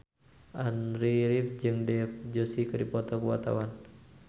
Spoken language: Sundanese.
Andy rif jeung Dev Joshi keur dipoto ku wartawan